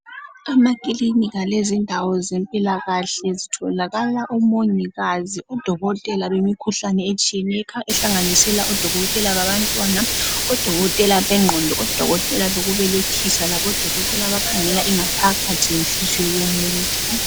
Amakilinika lezindawo zempilakahle zitholakala omongikazi, odokotela bemikhuhlane etshiyeneyo ehlanganisela odokotela babantwana, odokotela bengqondo , odokotela bokubelethisa labodokotela abakhangela ingaphakathi lenhliziyo yomuntu.